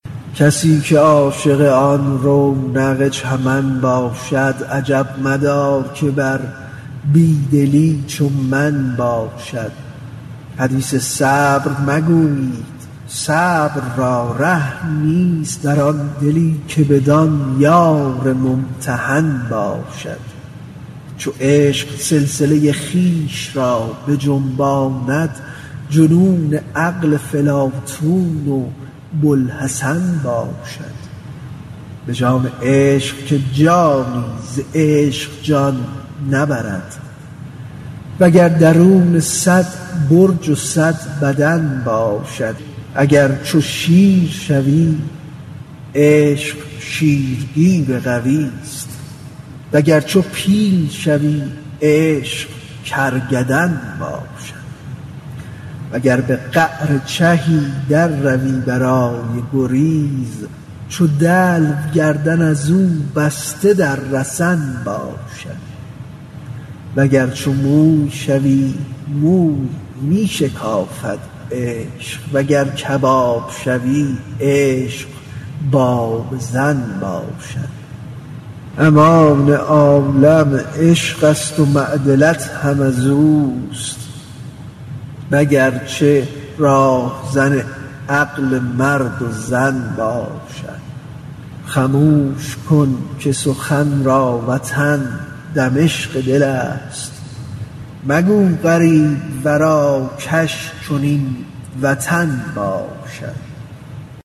کسی که عاشق آن رونق چمن باشد عجب مدار که در بی دلی چو من باشد حدیث صبر مگویید صبر را ره نیست در آن دلی که بدان یار ممتحن باشد چو عشق سلسله خویش را بجنباند جنون عقل فلاطون و بوالحسن باشد به جان عشق که جانی ز عشق جان نبرد وگر درونه صد برج و صد بدن باشد اگر چو شیر شوی عشق شیرگیر قویست وگرچه پیل شوی عشق کرکدن باشد وگر به قعر چهی درروی برای گریز چو دلو گردن از او بسته رسن باشد وگر چو موی شوی موی می شکافد عشق وگر کباب شوی عشق بابزن باشد امان عالم عشقست و معدلت هم از اوست وگرچه راهزن عقل مرد و زن باشد خموش کن که سخن را وطن دمشق دلست مگو غریب ورا کش چنین وطن باشد